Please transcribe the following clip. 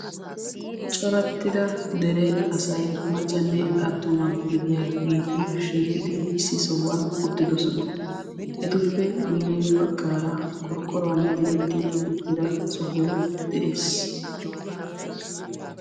Coraxxida dere asay maccanne attuma gidiyageeti shiiqidi issi sohuwan uttidosona. Etuppe guyye baggaara qorqqoruwan diretti uttida sohoy de'ees.